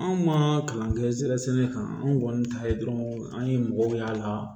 Anw ma kalan kɛ ɛri sɛnɛ kan anw kɔni ta ye dɔrɔn an ye mɔgɔw y'a la